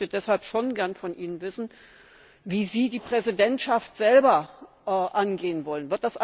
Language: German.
Ich möchte deshalb schon gerne von Ihnen wissen, wie Sie die Präsidentschaft angehen wollen.